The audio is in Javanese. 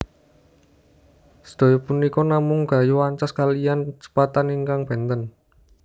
Sedaya punika namung gayuh ancas kaliyan kecepatan ingkang benten